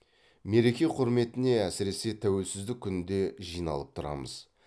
мереке құрметіне әсіресе тәуелсіздік күнінде жиналып тұрамыз